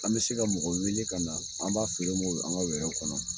An be se ka mɔgɔ wele ka na an b'a feere ma ye an ka wɛrɛw kɔnɔ